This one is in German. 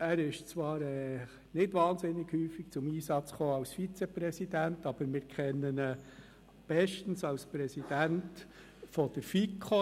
Er ist zwar als Vizepräsident nicht sehr häufig zum Einsatz gekommen, aber wir kennen ihn bestens als Präsidenten der FiKo.